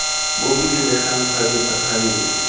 bo bo diregang kgabetsa kgabetsa